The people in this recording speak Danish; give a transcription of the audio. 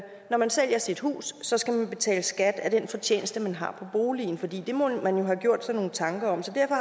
når man sælger sit hus så skal man betale skat af den fortjeneste man har af boligen for det må man jo have gjort sig nogle tanker om så derfor